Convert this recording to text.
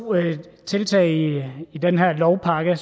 tiltag i den her lovpakke